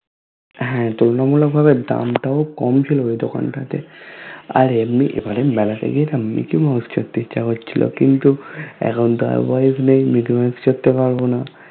হ্যা তুলনামূলক ভাবে দামতাও কম ছিলো দোকান তাতে । আর এমনি এবারএর মেলাতে গায়েনা Mickey Mouse ইচ্ছা করছিলো কিন্তু এখন তো আবার পারবোনা